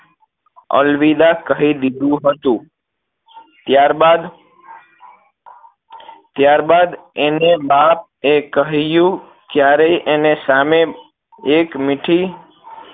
અલવિદા કહી દીધું હતું ત્યારબાદ ત્યારબાદ એને બાપ એ કહ્યું ત્યારે એને સામે એક મીઠી